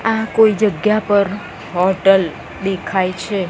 આ કોઈ જગ્યા પર હોટલ દેખાય છે.